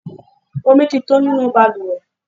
Omi tí tán nínú bàlùwẹ̀.